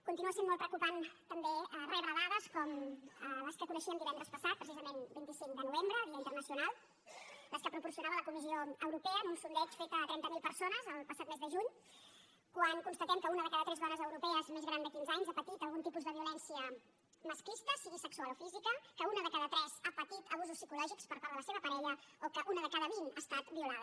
continua sent molt preocupant també rebre dades com les que coneixíem divendres passat precisament vint cinc de novembre dia internacional les que proporcionava la comissió europea en un sondeig fet a trenta mil persones el passat mes de juny quan constatem que una de cada tres dones europees més gran de quinze anys ha patit algun tipus de violència masclista sigui sexual o física que una de cada tres ha patit abusos psicològics per part de la seva parella o que una de cada vint ha estat violada